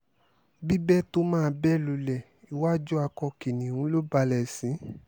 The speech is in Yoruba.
bíbẹ̀ tó máa bẹ́ lulẹ̀ iwájú akọ kìnnìún ló balẹ̀ sí